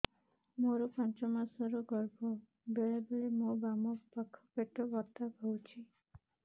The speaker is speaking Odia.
ମୋର ପାଞ୍ଚ ମାସ ର ଗର୍ଭ ବେଳେ ବେଳେ ମୋ ବାମ ପାଖ ପେଟ ବଥା ହଉଛି